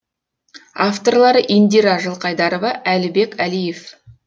авторлары индира жылқайдарова әлібек әлиев